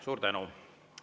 Suur tänu!